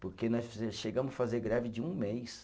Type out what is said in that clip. Porque nós chegamos a fazer greve de um mês.